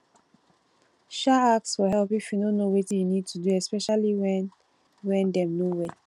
um ask for help if you no know wetin you need to do especially when when dem no well